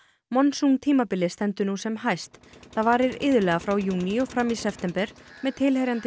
monsúntímabilið stendur nú sem hæst það varir iðulega frá júní og fram í september með tilheyrandi